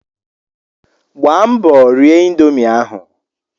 Gbaa mbọ rie indomie ahụ!